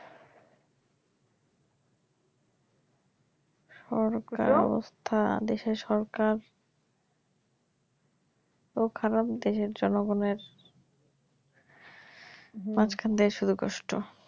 সরকারের অবস্থা দেশের সরকার ও খারাপ দেশের জনগনের মাঝখানটায় শুধু কষ্ট